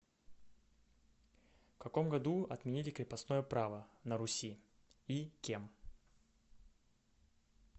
в каком году отменили крепостное право на руси и кем